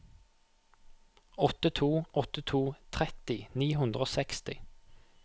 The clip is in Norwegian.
åtte to åtte to tretti ni hundre og seksti